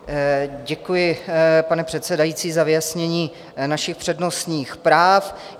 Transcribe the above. Děkuji, pane předsedající, za vyjasnění našich přednostních práv.